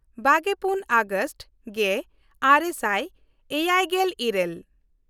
ᱵᱟᱜᱮᱯᱩᱱ August ᱜᱮᱼᱟᱨᱮ ᱥᱟᱭ ᱮᱭᱟᱭᱜᱮᱞ ᱤᱨᱟᱹᱞ